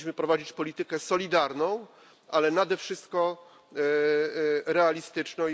Powinniśmy prowadzić politykę solidarną, a nade wszystko realistyczną.